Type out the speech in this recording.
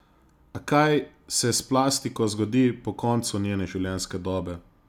A kaj se s plastiko zgodi po koncu njene življenjske dobe?